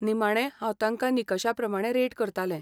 निमाणें, हांव तांकां निकशा प्रमाणें रेट करतालें.